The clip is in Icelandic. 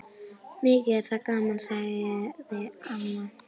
Mikið er það gaman, sagði mamma.